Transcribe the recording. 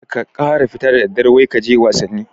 kar ka kara fita da daddare wai kaje wasanni